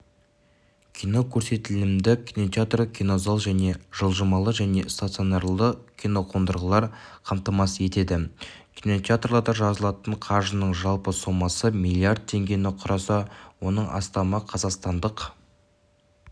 кинокөрсетілімді кинотеатр кинозал және жылжымалы және стационарлы киноқондырғылар қамтамасыз етеді кинотеатрларда жиналатын қаржының жалпы сомасы миллиард теңгені құраса оның астамы қазақстандық